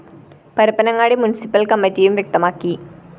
Parappanangadi municipal‍ കമ്മറ്റിയും വ്യക്തമാക്കി